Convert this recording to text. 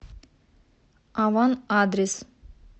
аван адрес